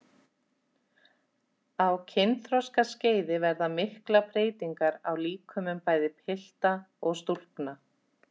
Á kynþroskaskeiði verða miklar breytingar á líkömum bæði pilta og stúlkna.